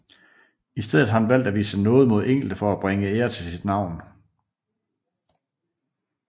I stedet har han valgt at vise nåde mod enkelte for at bringe ære til sit navn